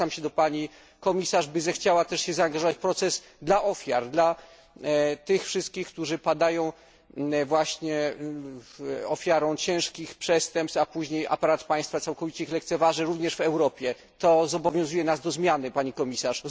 Zwracam się do pani komisarz, by zechciała się także zaangażować w proces na rzecz ofiar, na rzecz tych wszystkich, którzy padają właśnie ofiarą ciężkich przestępstw, a później aparat państwa ich całkowicie lekceważy, również w Europie. To zobowiązuje nas do zmiany, pani komisarz.